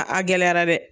A gɛlɛyara dɛ